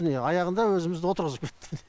міне аяғында өзімізді отырғызып кетті міне